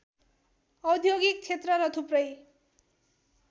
औद्योगिक क्षेत्र र थुप्रै